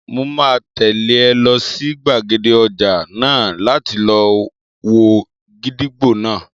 Mo máa tẹ̀lé ọ lọ sí gbàgede ọjà náà láti lọ wo gídígbò náà